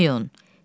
Qoymayın.